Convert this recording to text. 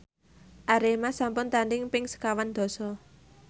Arema sampun tandhing ping sekawan dasa